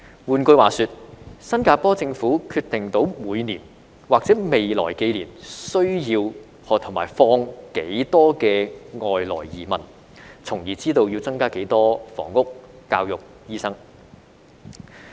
換句話說，新加坡政府能決定每年或未來幾年需要和引入多少外來移民，從而知道要增加多少房屋、教育和醫生。